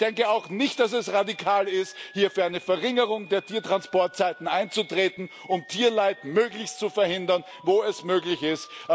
Ich denke auch nicht, dass es radikal ist, für eine Verringerung der Tiertransportzeiten einzutreten, um Tierleid möglichst zu verhindern, wo es möglich ist.